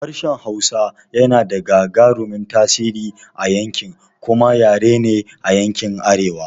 Harshen Hausa yana da gagarumin tasiri a yanki kuma yare ne a yankin arewa.